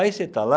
Aí você está lá,